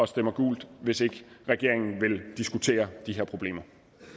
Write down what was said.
stemmer gult hvis ikke regeringen vil diskutere de her problemer